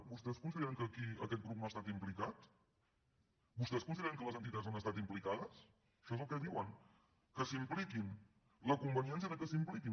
vostès consideren que aquí aquest grup no ha estat implicat vostès consideren que les entitats no hi han estat implicades això és el que diuen que s’hi impliquin la convenièn cia que s’hi impliquin